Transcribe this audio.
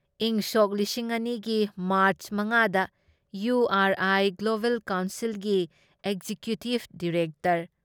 ꯏꯪꯁꯣꯛ ꯂꯤꯁꯤꯡ ꯑꯅꯤ ꯒꯤ ꯃꯥꯔꯆ ꯃꯉꯥ ꯗ ꯏꯌꯨ ꯑꯥꯔ ꯑꯥꯏ ꯒ꯭ꯂꯣꯕꯦꯜ ꯀꯥꯎꯟꯁꯤꯜꯒꯤ ꯑꯦꯛꯖꯤꯀ꯭ꯌꯨꯇꯤꯕ ꯗꯥꯏꯔꯦꯛꯇꯔ